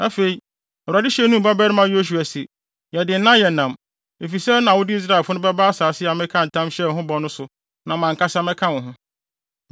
Afei, Awurade hyɛɛ Nun babarima Yosua sɛ, “Yɛ den na yɛ nnam, efisɛ wo na wode Israelfo no bɛba asase a mekaa ntam hyɛɛ ho bɔ no so na mʼankasa mɛka mo ho.”